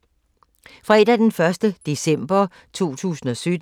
Fredag d. 1. december 2017